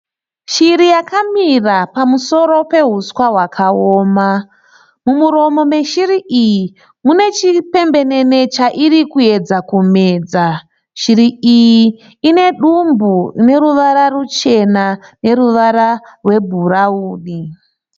Shiri yakamira pamusoro pehuswa hwakaoma. Mumuromo meshiri iyi mune chipembenene chairi kuedza kumedza. Shiri iyi ine dumbu rine ruvara ruchena neruvara rwebhurauni.